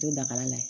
To dakala la yen